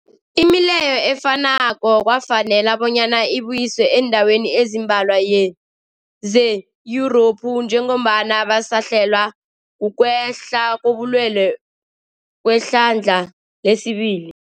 Imileyo efanako kwafanela bonyana ibuyiswe eendaweni ezimbalwa ze-Yurophu njengombana basahlelwa kukwehla kobulwele kwehlandla lesibili.